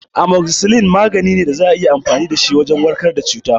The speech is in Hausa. Amoxicilin magani ne da za a iya amfani dashi don warkar da cuta